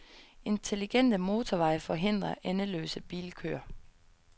Intelligente motorveje forhindrer endeløse bilkøer.